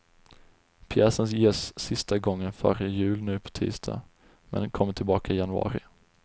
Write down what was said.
Pjäsen ges sista gången före jul nu på tisdag, men kommer tillbaka i januari.